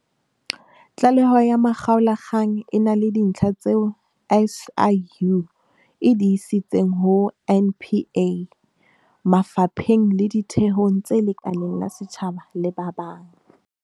Tlaleho ya makgaolakgang e na le dintlha tseo SIU e di isitseng ho NPA, mafa pheng le ditheong tse lekaleng la setjhaba le ba bang.